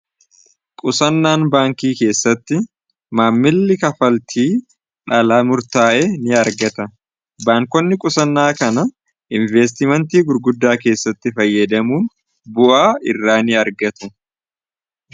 qusannaan baankii keessatti maammilli kafaltii dhalaa murtaa'e ni argata baankonni qusannaa kana inveestimentii gurguddaa keessatti fayyadamuun bu'aa irraa ni argatu